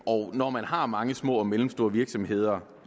og når man har mange små og mellemstore virksomheder